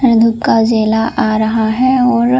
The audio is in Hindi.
और धुप का उजाला आ रहा है और --